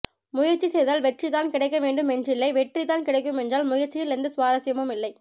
முயற்சி செய்தால் வெற்றிதான் கிடைக்க வேண்டும் என்றில்லை வெற்றி தான் கிடைக்குமென்றால் முயற்சியில் எந்த சுவாரஸ்யமுமில்லை